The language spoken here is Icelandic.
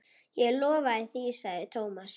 Ég lofa því sagði Thomas.